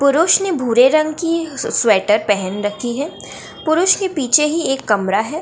पुरुष ने भूरे रंग की स्वेटर पहन रखी है पुरुष के पीछे ही एक कमरा है ।